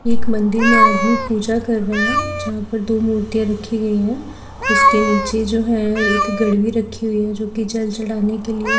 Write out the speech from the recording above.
एक मंदिर में आदमी पूजा कर रहा है यहां पर दो मूर्तियां रखी गई हैं उसके नीचे जो है एक गड़वी रखी हुई है जो कि जल चढ़ाने के लिए--